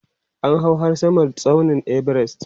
an hau har Samar tsaunin Everest